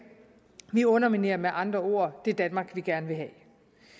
vi underminerer med andre ord det danmark vi gerne vil have